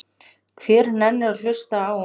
Hver nennir að hlusta á.